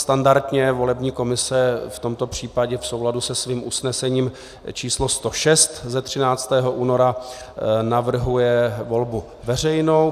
Standardně volební komise v tomto případě v souladu se svým usnesením číslo 106 ze 13. února navrhuje volbu veřejnou.